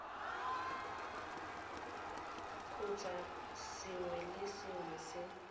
kgotsa sengwe le sengwe se